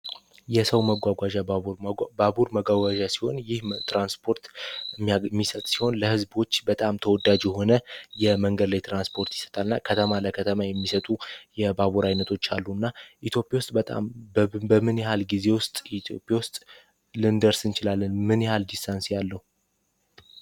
የሰው መጎጃ ባቡር ባቡር መጓጓዣ ሲሆን ትራንስፖርት የሚሰጥ ሲሆን ለህዝቦች በጣም ተወዳጅ የሆነ የመንገድ ላይ ትራንስፖርት ይሰጣልና ከተማ ለከተማ አገልግሎት የሚሰጡ የባቡር ዓይነቶች አሉ እና የኢትዮጵያ ውስጥ በጣም በምን ያህል ጊዜ ልንደርስ እንችላለን?